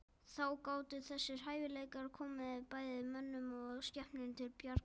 Þá gátu þessir hæfileikar komið bæði mönnum og skepnum til bjargar.